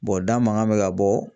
da mankan bɛ ka bɔ